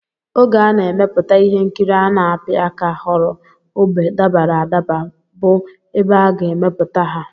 Oge a na-emepụta ihe nkiri a na-apị aka họrọ ógbè dabara adaba bụ ebe a ga-emepụta ha